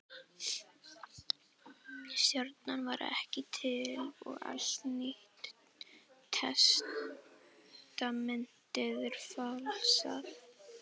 Stjarnan var ekki til og allt Nýja testamentið er falsað.